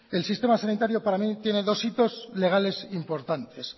el sistema sanitaria para mí tiene dos hitos legales importantes